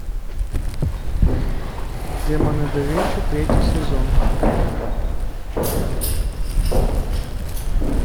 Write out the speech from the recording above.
демоны да винчи третий сезон